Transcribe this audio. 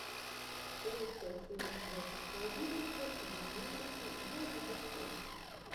лучшая серия звезд шоу бизнеса и знаменитостей знай обо всем